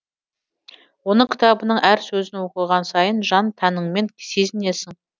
оның кітабының әр сөзін оқыған сайын жан тәніңмен сезінесің